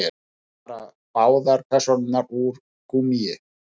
Bara báðar persónurnar úr gúmmíi.